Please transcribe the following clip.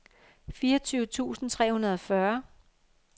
fireogtyve tusind tre hundrede og fyrre